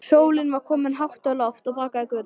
Sólin var komin hátt á loft og bakaði göturnar.